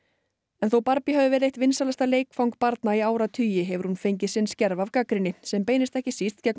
en þó Barbie hafi verið eitt vinsælasta leikfang barna í áratugi hefur hún fengið sinn skerf af gagnrýni sem beinist ekki síst gegn